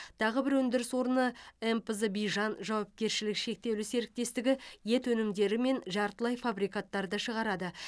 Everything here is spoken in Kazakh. тағы бір өндіріс орны мпз бижан жауапкершілігі шектеулі серіктестігі ет өнімдері мен жартылай фабрикаттарды шығарады